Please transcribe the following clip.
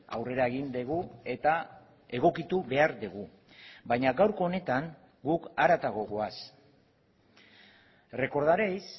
aurrera egin dugu eta egokitu behar dugu baina gaurko honetan guk haratago goaz recordareis